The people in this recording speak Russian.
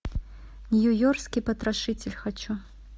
нью йоркский потрошитель хочу